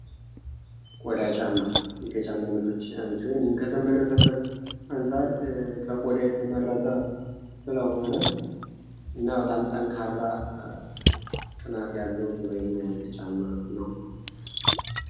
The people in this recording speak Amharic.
ቆዳ ጫማ ከጫማ አይነቶች ውስጥ አንዱ ሲሆን ይህም ከተመረተበት አንፃር ከቆዳ የተመረተ ስለሆነ እና በጣም ጠንካራ ጥናት ያለው ተሎ የማያልቅ ጫማ ነው።